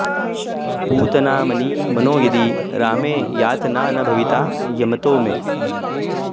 पूतनामनि मनो यदि रामे यातना न भविता यमतो मे